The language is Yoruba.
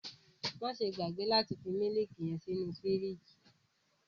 Maṣe gbagbe lati fi miliki yẹn sínú firiji!